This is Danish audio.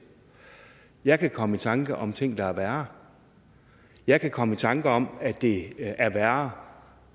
jeg kan komme i tanker om ting der er værre jeg kan komme i tanker om at det er værre